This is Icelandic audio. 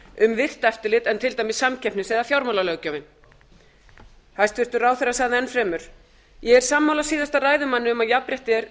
um virkt eftirlit en til dæmis samkeppnis eða fjármálalöggjöfin hæstvirtur ráðherra sagði enn fremur ég er sammála síðasta ræðumanni um að jafnrétti er